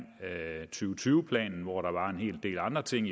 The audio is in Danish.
tyve planen hvor der var en hel del andre ting